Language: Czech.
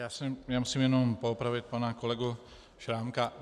Já musím jen poopravit pana kolegu Šrámka.